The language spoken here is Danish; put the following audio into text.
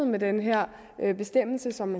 med den her bestemmelse som